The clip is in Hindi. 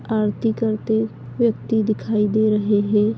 आरती करते व्यक्ति दिखाई दे रहे हैं।